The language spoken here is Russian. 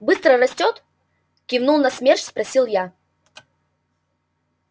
быстро растёт кивнув на смерч спросил я